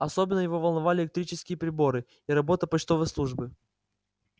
особенно его волновали электрические приборы и работа почтовой службы